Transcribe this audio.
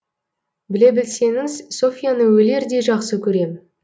біле білсеңіз софьяны өлердей жақсы көрем